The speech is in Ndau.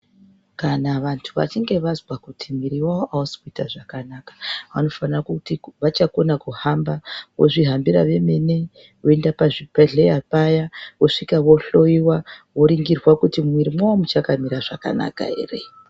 Kana vantu vachinge vazwa kuti mwiri yavo ausi kuita zvakanaka vanofanira kuti vachakona kuhamba, vozvihambira vemene voenda pachibhedhlera paya vosvika vohloyiwa voningirwa kuti mumwiri mwavo muchakamira zvakanaka ere.